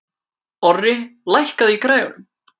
Orri, lækkaðu í græjunum.